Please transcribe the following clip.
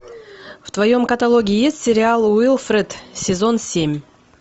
в твоем каталоге есть сериал уилфред сезон семь